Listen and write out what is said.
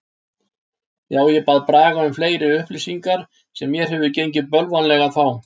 Já, ég bað Braga um fleiri upplýsingar sem mér hefur gengið bölvanlega að fá.